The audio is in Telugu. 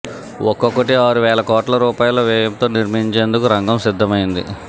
ఒక్కొక్కటి ఆరు వేల కోట్ల రూపాయల వ్యయంతో నిర్మించేందుకు రంగం సిద్ధమైంది